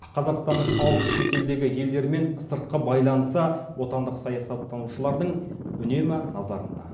қазақстанның алыс шетелдегі елдермен сыртқы байланысы отандық саясаттанушылардың үнемі назарында